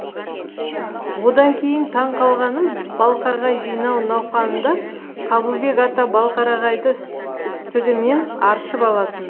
одан кейін таң қалғаным балқарағай жинау науқанында қабылбек ата балқарағайды істігімен аршып алатын